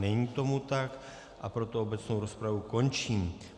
Není tomu tak, a proto obecnou rozpravu končím.